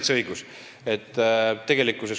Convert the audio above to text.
Teil on täitsa õigus.